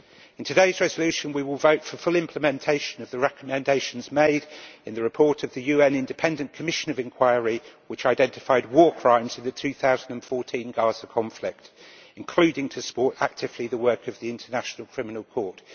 In today's resolution, we will vote for full implementation of the recommendations made in the report of the UN independent commission of inquiry, which identified war crimes of the 2014 Gaza conflict, including to support actively the work of the International Criminal Court.